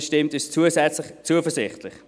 Das stimmt uns zusätzlich zuversichtlich.